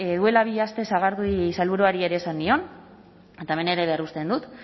duela bi aste sagardui sailburuari ere esan nion eta hemen ere berresten dut